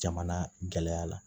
Jamana gɛlɛya la